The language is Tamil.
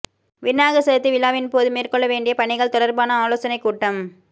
விநாயகர் சதுர்த்தி விழாயின் போது மேற்கொள்ள வேண்டிய பணிகள் தொடர்பான ஆலோசனைக் கூட்டம்